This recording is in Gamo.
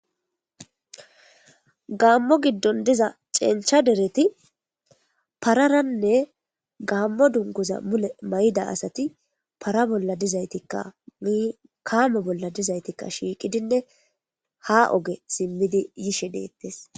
gaammo giddon diza cencha dereti pararanne gaammo dunguza mule may7ida asati para bolla dizaytikka kaamo bolla dizaytikka shiiqidinne ha oge simmidi yishe deettes